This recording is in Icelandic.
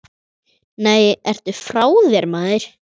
Nei, ertu frá þér, maður.